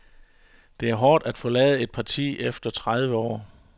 Det er hårdt at forlade et parti efter tredive år.